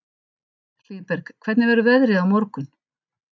Hlíðberg, hvernig verður veðrið á morgun?